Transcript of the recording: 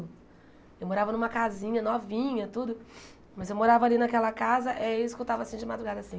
Eu morava numa casinha novinha tudo, mas eu morava ali naquela casa eh eu escutava de madrugada assim...